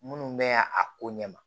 Minnu mɛɛn a ko ɲɛ ma